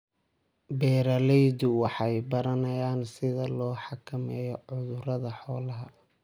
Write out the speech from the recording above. Beeraleydu waxay baranayaan sida loo xakameeyo cudurrada xoolaha.